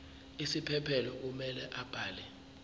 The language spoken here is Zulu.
isiphephelo kumele abhale